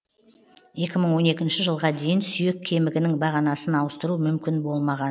екі мың он екінші жылға дейін сүйек кемігінің бағанасын ауыстыру мүмкін болмаған